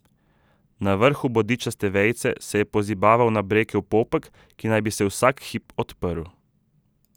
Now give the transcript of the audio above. Na vrhu bodičaste vejice se je pozibaval nabrekel popek, ki naj bi se vsak hip odprl.